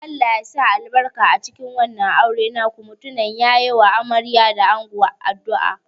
Allah ya sa albarka cikin wannan auren naku, mutumin ya yi wa amarya da ango addu'a.